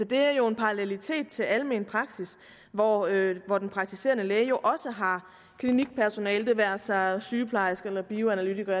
det er jo en parallelitet til almen praksis hvor hvor den praktiserende læge jo også har klinikpersonale det være sig sygeplejerske eller bioanalytiker